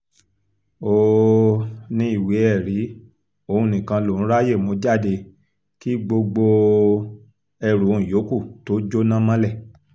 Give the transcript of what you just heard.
ó um ní ìwé-ẹ̀rí òun nìkan lòún ráàyè mú jáde kí gbogbo um ẹrù òun yòókù tóó jóná mọ́lẹ̀